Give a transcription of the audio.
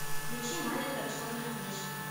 включи маленькая черная книжка